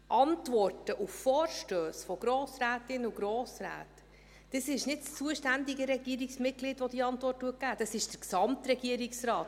Antworten auf Vorstösse von Grossrätinnen und Grossräten – es ist nicht das zuständige Regierungsratsmitglied, welches diese Antwort gibt, sondern das ist der Gesamtregierungsrat.